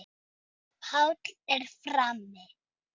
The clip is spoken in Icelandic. Páll er frammi.